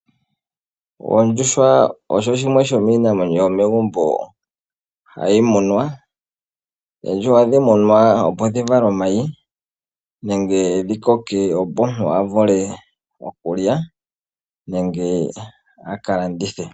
Ondjuhwa osho shimwe shomiinamwenyo yomegumbo hayi munwa. Oondjuhwa ohadhi munwa opo dhi vale omayi nenge dhi koke opo omuntu a vule okulya nenge a ka landithe.